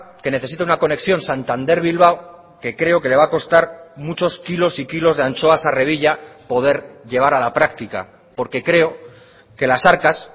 que necesita una conexión santander bilbao que creo que le va a costar muchos kilos y kilos de anchoas a revilla poder llevar a la práctica porque creo que las arcas